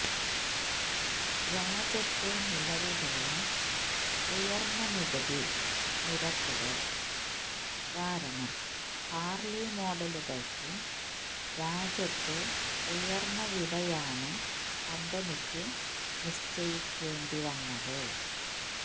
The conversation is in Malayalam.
രാജ്യത്ത് നിലവിലുള്ള ഉയന്ന നികുതി നിരക്കുകൾ കാരണം ഹാർലി മോഡലുകൾക്ക് രാജ്യത്ത് ഉയർന്ന വിലയാണ് കമ്പനിക്ക് നിശ്ചയിക്കേണ്ടി വന്നത്